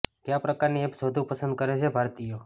કયા પ્રકારની એપ્સ વધુ પસંદ કરે છે ભારતીયો